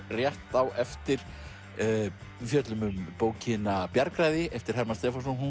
rétt á eftir við fjöllum um bókina bjargræði eftir Hermann Stefánsson hún